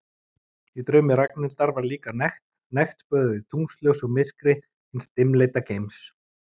Í draumi Ragnhildar var líka nekt, nekt böðuð í tunglsljósi og myrkri hins dimmleita geims.